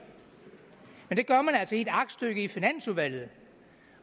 og det gør man altså med et aktstykke i finansudvalget